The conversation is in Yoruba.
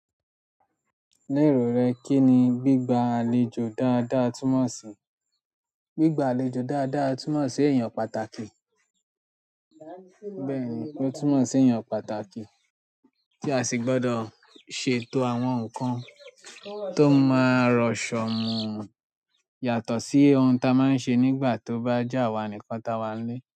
Ní èrò rẹ, kí ni gbígba àlejò dáadáa túnmọ̀ sí? Gbígba àlejò dáadáa túnmọ̀ sí ẹ̀yàn pàtàkì. Bẹ́ẹ̀ ni, ó túnmọ̀ sí ẹ̀yàn pàtàkì tí a sì gbọ́dọ̀ ṣètò àwọn nǹkan tó máa rọ̀ ṣọ̀ mu yàtọ̀ sí ohun tí a máa ń ṣe nígbà tó bá je awá nìkan táa wá nílé.